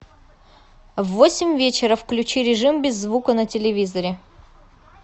в восемь вечера включи режим без звука на телевизоре